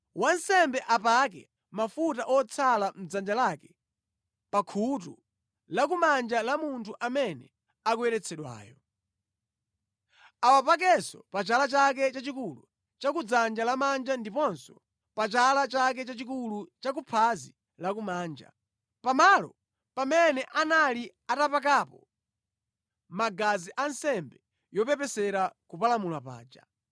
Wansembe apake mafuta otsala mʼdzanja lake pa khutu lakumanja la munthu amene akuyeretsedwayo. Awapakenso pa chala chake chachikulu cha ku dzanja lamanja ndiponso pa chala chake chachikulu cha ku phazi lakumanja, pamalo pamene anali atapakapo magazi a nsembe yopepesera kupalamula paja.